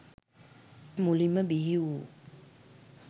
මුලින්ම බිහි වූ